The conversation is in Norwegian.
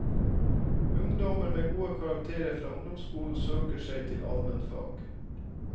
Ungdommer med gode karakterer fra ungdomsskolen søker seg til almenfag.